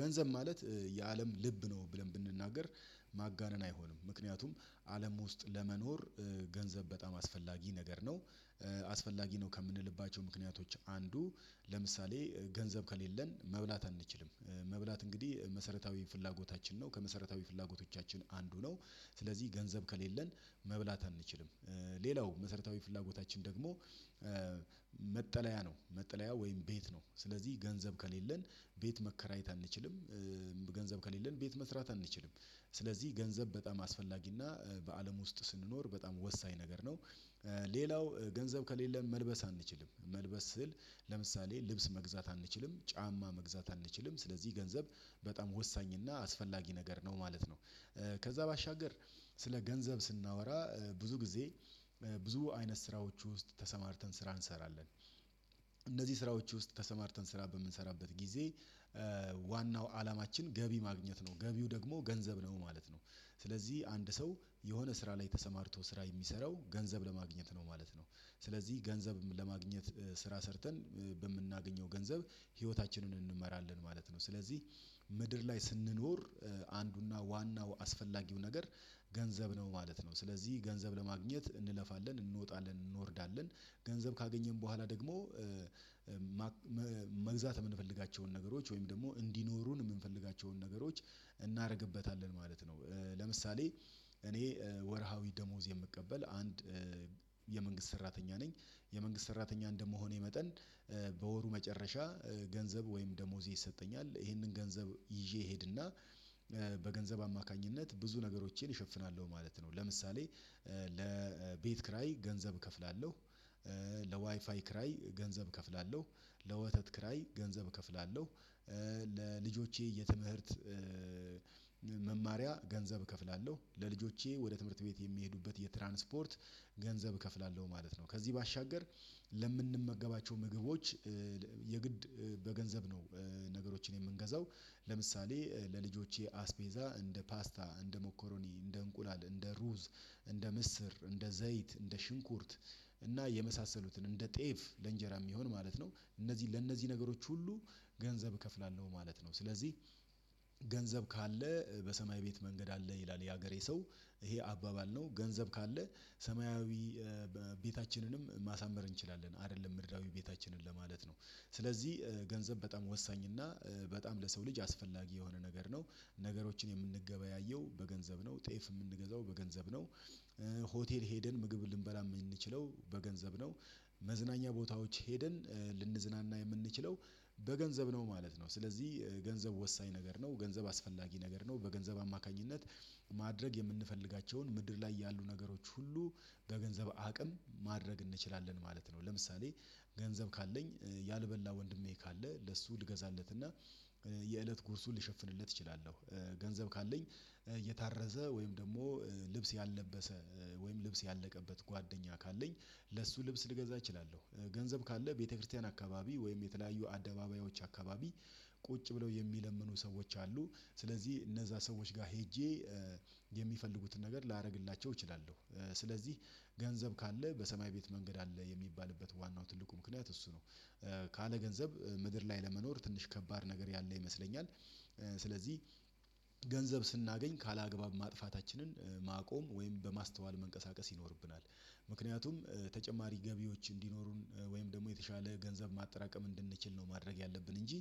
ገንዘብ ማለት የአለም ልብ ነው ብለን ብንናገር ማጋነን አይሆንም። ምክንያቱም አለሙ ውስጥ ለመኖር ገንዘብ በጣም አስፈላጊ ነገር ነው። አስፈላጊ ነው ከምንልባቸው ምክንያቶች አንዱ ለምሳሌ ገንዘብ ከሌለን መብላት አንችልም። መብላት እንግዲህ መሰረታዊ ፍላጎታችን ነው። ከመሰረታዊ ፍላጎቶቻችን አንዱ ነው። ስለዚህ ገንዘብ ከሌለን መብላት አንችልም። ሌላው መሰረታዊ ፍላጎታችን ደግሞ መጠለያ ነው። መጠለያ ወይም ቤት ነው። ስለዚህ ገንዘብ ከሌለን ቤት መከራየት አንችልም። ገንዘብ ከሌለን ቤት መስራት አንችልም። ስለዚህ ገንዘብ በጣም አስፈላጊና በአለም ውስጥ ስንኖር በጣም ወሳኝ ነገር ነው። ሌላው ገንዘብ ከሌለን መልበስ አንችልም። መልበስ ስዕል ለምሳሌ ልብስ መግዛት አንችልም፣ ጫማ መግዛት አንችልም። ስለዚህ ገንዘብ በጣም ወሳኝ እና አስፈላጊ ነገር ነው ማለት ነው። ከዛ ባሻገር ስለ ገንዘብ ስናወራ ብዙ ጊዜ ብዙ አይነት ስራዎች ውስጥ ተሰማርተን ስራ እንሰራለን። እነዚህ ስራዎች ውስጥ ተሰማርተን ስራ በምንሰራበት ጊዜ ዋናው አላማችን ገቢ ማግኘት ነው። ገቢው ደግሞ ገንዘብ ነው ማለት ነው። ስለዚህ አንድ ሰው የሆነ ስራ ላይ ተሰማርቶ ስራ የሚሰራው ገንዘብ ለማግኘት ነው ማለት ነው። ስለዚህ ገንዘብ ለማግኘት ስራ ሰርተን በምናገኘው ገንዘብ ህይወታችንን እንመራለን ማለት ነው። ስለዚህ ምድር ላይ ስንኖር አንዱና ዋናው አስፈላጊው ነገር ገንዘብ ነው ማለት ነው። ስለዚህ ገንዘብ ለማግኘት እንለፋለን፣ እንወጣለን፣ እንወርዳለን። ገንዘብ ካገኘን በኋላ ደግሞ መግዛት የምንፈልጋቸውን ነገሮች ወይም ደግሞ እንዲኖሩን የምንፈልጋቸውን ነገሮች እናደርግበታለን ማለት ነው። ለምሳሌ እኔ ወርሃዊ ደሞዝ የምቀበል አንድ የመንግስት ሰራተኛ ነኝ። የመንግስት ሰራተኛ እንደመሆኔ መጠን በወሩ መጨረሻ ገንዘብ ወይም ደሞዜ ይሰጠኛል። ይሄንን ገንዘብ ይዤ እሄድና በገንዘብ አማካኝነት ብዙ ነገሮቼን እሸፍናለሁ ማለት ነው። ለምሳሌ ለቤት ኪራይ ገንዘብ እከፍላለሁ። ለዋይፋይ ኪራይ ገንዘብ እከፍላለሁ። ለወተት ኪራይ ገንዘብ እከፍላለሁ። ለልጆቼ የትምህርት መማሪያ ገንዘብ እከፍላለሁ። ለልጆቼ ወደ ትምህርት ቤት የሚሄዱበት የትራንስፖርት ገንዘብ እከፍላለሁ ማለት ነው። ከዚህ ባሻገር ለምንመገባቸው ምግቦች የግድ በገንዘብ ነው ነገሮችን የምንገዛው። ለምሳሌ ለልጆቼ አስቤዛ እንደ ፓስታ፣ እንደ ሞኮሮኒ፣ እንደ እንቁላል፣ እንደ ሩዝ፣ እንደ ምስር፣ እንደ ዘይት፣ እንደ ሽንኩርት እና የመሳሰሉትን እንደ ጤፍ ለእንጀራ የሚሆን ማለት ነው፤ እነዚህ ለእነዚህ ነገሮች ሁሉ ገንዘብ እከፍላለሁ ማለት ነው። ስለዚህ ገንዘብ ካለ በሰማይ ቤት መንገድ አለ ይላል የሀገሬ ሰው። ይሄ አባባል ነው፤ ገንዘብ ካለ ሰማያዊ ቤታችንንም ማሳመር እንችላለን አይደለም ምድራዊ ቤታችንን ለማለት ነው። ስለዚህ ገንዘብ በጣም ወሳኝ እና በጣም ለሰው ልጅ አስፈላጊ የሆነ ነገር ነው። ነገሮችን የምንገበያየው በገንዘብ ነው። ጤፍ የምንገዛው በገንዘብ ነው። ሆቴል ሄደን ምግብ ልንበላ የምንችለው በገንዘብ ነው። መዝናኛ ቦታዎች ሄደን ልንዝናና የምንችለው በገንዘብ ነው ማለት ነው። ስለዚህ ገንዘብ ወሳኝ ነገር ነው። ገንዘብ አስፈላጊ ነገር ነው። በገንዘብ አማካኝነት ማድረግ የምንፈልጋቸውን ምድር ላይ ያሉ ነገሮች ሁሉ በገንዘብ አቅም ማድረግ እንችላለን ማለት ነው። ለምሳሌ ገንዘብ ካለኝ ያልበላ ወንድሜ ካለ ለሱ ልገዛለትና የእለት ጉርሱን ልሸፍንለት እችላለሁ። ገንዘብ ካለኝ እየታረዘ ወይም ደግሞ ልብስ ያልለበሰ ወይም ልብስ ያለቀበት ጓደኛ ካለኝ ለሱ ልብስ ልገዛ እችላለሁ። ገንዘብ ካለ ቤተክርስቲያን አካባቢ ወይም የተለያዩ አደባባዮች አካባቢ ቁጭ ብለው የሚለምኑ ሰዎች አሉ፤ ስለዚህ እነዛ ሰዎች ጋር ሄጄ የሚፈልጉትን ነገር ላደርግላቸው እችላለሁ። ስለዚህ ገንዘብ ካለ በሰማይ ቤት መንገድ አለ የሚባልበት ዋናው ትልቁ ምክንያት እሱ ነው። ካለ ገንዘብ ምድር ላይ ለመኖር ትንሽ ከባድ ነገር ያለ ይመስለኛል። ስለዚህ ገንዘብ ስናገኝ ካለአግባብ ማጥፋታችንን ማቆም ወይም በማስተዋል መንቀሳቀስ ይኖርብናል። ምክንያቱም ተጨማሪ ገቢዎች እንዲኖሩን ወይም ደግሞ የተሻለ ገንዘብ ማጠራቀም እንድንችል ነው ማድረግ ያለብን እንጂ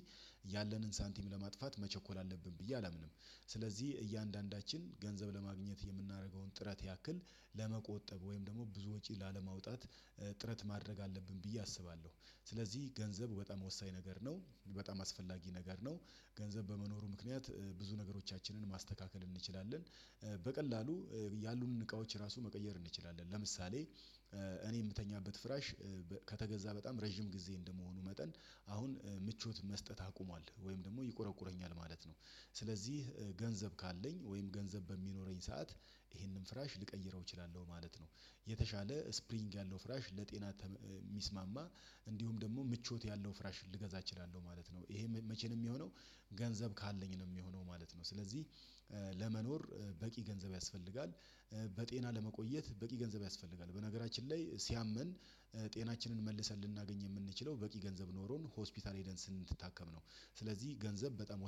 ያለንን ሳንቲም ለማጥፋት መቸኮል አለብን ብዬ አላምንም። ስለዚህ እያንዳንዳችን ገንዘብ ለማግኘት የምናደርገውን ጥረት ያክል ለመቆጠብ ወይም ደግሞ ብዙ ወጪ ላለማውጣት ጥረት ማድረግ አለብን ብዬ አስባለሁ። ስለዚህ ገንዘብ በጣም ወሳኝ ነገር ነው። በጣም አስፈላጊ ነገር ነው። ገንዘብ በመኖሩ ምክንያት ብዙ ነገሮቻችንን ማስተካከል እንችላለን። በቀላሉ ያሉንን እቃዎች ራሱ መቀየር እንችላለን። ለምሳሌ እኔ የምተኛበት ፍራሽ ከተገዛ በጣም ረጅም ጊዜ እንደመሆኑ መጠን አሁን ምቾት መስጠት አቁሟል ወይም ደግሞ ይቆረቁረኛል ማለት ነው። ስለዚህ ገንዘብ ካለኝ ወይም ገንዘብ በሚኖረኝ ሰዓት ይሄንን ፍራሽ ልቀይረው እችላለሁ ማለት ነው። የተሻለ ስፕሪንግ ያለው ፍራሽ፣ ለጤና የሚስማማ፣ እንዲሁም ደግሞ ምቾት ያለው ፍራሽ ልገዛ እችላለሁ ማለት ነው። ይሄ መቼም የሚሆነው? ገንዘብ ካለኝ ነው የሚሆነው ማለት ነው። ስለዚህ ለመኖር በቂ ገንዘብ ያስፈልጋል፤ በጤና ለመቆየት በቂ ገንዘብ ያስፈልጋል። በነገራችን ላይ ሲያመን ጤናችንን መልሰን ልናገኝ የምንችለው በቂ ገንዘብ ኖሮን ሆስፒታል ሄደን ስንታከም ነው። ስለዚህ ገንዘብ በጣም